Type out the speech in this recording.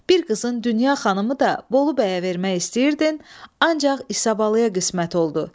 Bir qızın dünya xanımı da Bolu bəyə vermək istəyirdin, ancaq İsa balaya qismət oldu.